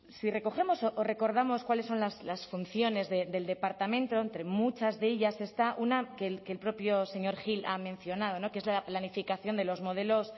si recogemos o recordamos cuáles son las funciones del departamento entre muchas de ellas está una que el propio señor gil ha mencionado que es la planificación de los modelos